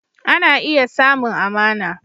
Ana iya samun amana